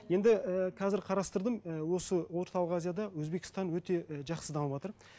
енді і қазір қарастырдым і осы орталық азияда өзбекстан өте і жақсы дамыватыр